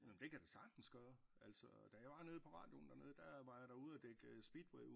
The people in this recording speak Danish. Nåh men det kan der sagtens gøre altså da jeg var nede på radioen dernede der var jeg derude og dække speedway